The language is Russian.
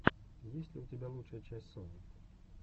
есть ли у тебя лучшая часть сони